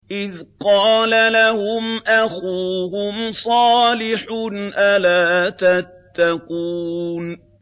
إِذْ قَالَ لَهُمْ أَخُوهُمْ صَالِحٌ أَلَا تَتَّقُونَ